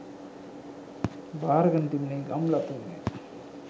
භාරගෙන තිබුණේ ගම්ලතුන් ය.